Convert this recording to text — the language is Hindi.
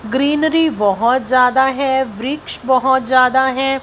ग्रीनरी बहोत जादा है वृक्ष बहोत ज्यादा है।